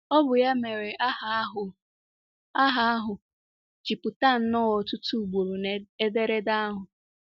Ọ bụ ya mere aha ahụ aha ahụ ji pụta nnọọ ọtụtụ ugboro n'ederede ahụ.